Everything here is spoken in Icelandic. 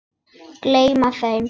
Gleyma þeim.